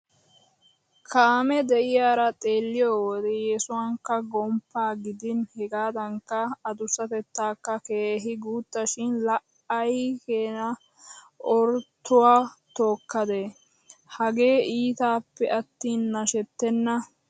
Kaame de'iyara xeelliyo wode yesuwakka gomppaa gidin hegaadankka adussatettaakka keehi guuttashin laa ay keena Oroottuwa tookkadee! Hagee iitappe attin nashettenna.